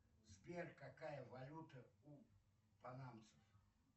сбер какая валюта у панамцев